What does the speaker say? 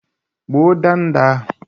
Gbuo ndanda ahụ!